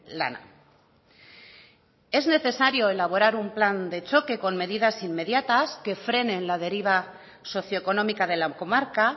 lana es necesario elaborar un plan de choque con medidas inmediatas que frenen la deriva socio económica de la comarca